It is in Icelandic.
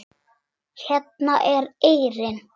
Hérna er eyrin.